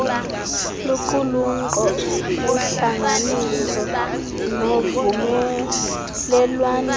luqulunkqo uhlanganiso novumelelwaniso